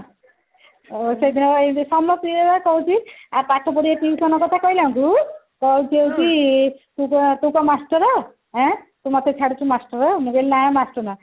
ସେଇବା ସମସ୍ତିଙ୍କୁ କହୁଛି ଆଉ ପାଠ ପଢିବା tuition କଥା କହିଲା ବେଳକୁ କହୁଛି ହଉଛି ତୁ କଣ ତୁ କଣ master ହେଁ ଆଁ ତୁ ମତେ ଛାଡୁଛୁ master ମୁଁ କହିଲି ନା master ନୁହଁ